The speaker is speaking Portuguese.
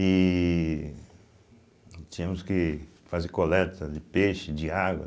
E tínhamos que fazer coleta de peixe, de água.